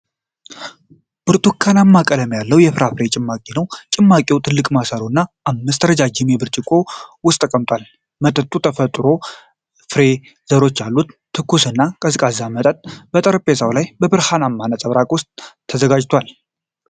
ብርቱካናማ ቀለም ያለው የፍራፍሬ ጭማቂ ነው። ጭማቂው ትልቅ ማሰሮ እና አምስት ረጅም ብርጭቆዎች ውስጥ ተሞልቷል። መጠጡ የተፈጥሮ ፍሬ ዘሮች አሉት። ትኩስና ቀዝቃዛ መጠጥ በጠረጴዛው ላይ በብርሃን ነጸብራቅ ውስጥ ተዘጋጅቷል።